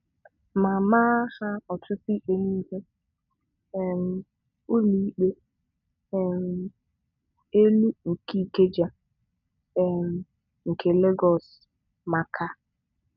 mà máá ha ọ̀tụ́tụ́ íkpé n'íhú um ụ́lọ̀íkpé um Élú ṅké Ìkeja, um ṅké Légọọ̀sụ́ màkà